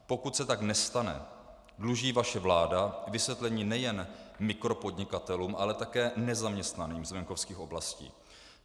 Pokud se tak nestane, dluží vaše vláda vysvětlení nejen mikropodnikatelům, ale také nezaměstnaným z venkovských oblastí.